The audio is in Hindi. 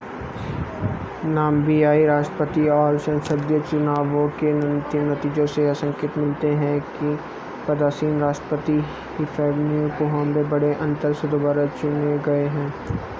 नाम्बियाई राष्ट्रपति और संसदीय चुनावों के अंतिम नतीजों से यह संकेत मिले हैं कि पदासीन राष्ट्रपति हिफ़िकेपून्ए पोहाम्बा बड़े अंतर से दोबारा चुने गए हैं